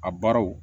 A baaraw